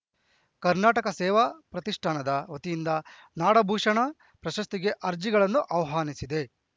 ಕರ್ನಾಟಕ ಸೇವಾ ಪ್ರತಿಷ್ಠಾನದ ವತಿಯಿಂದ ನಾಡಭೂಷಣ ಪ್ರಶಸ್ತಿಗೆ ಅರ್ಜಿಗಳನ್ನು ಆಹ್ವಾನಿಸಿದೆ